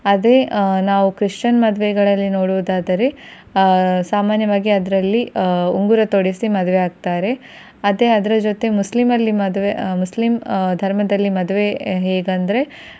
ಅದೆ ನಾವು Christian ಮದುವೆಗಳಲ್ಲಿ ನೋಡುವುದಾದರೆ ಆ ಸಾಮಾನ್ಯವಾಗಿ ಅದರಲ್ಲಿ ಆ ಉಂಗುರ ತೊಡಿಸಿ ಮದುವೆ ಆಗ್ತಾರೆ ಅದೆ ಅದರ ಜೊತೆ ಮುಸ್ಲಿಂ ಅಲ್ಲಿ ಮದುವೆ ಮುಸ್ಲಿಂ ಆ ಧರ್ಮದಲ್ಲಿ ಮದುವೆ ಹೇಗಂದ್ರೆ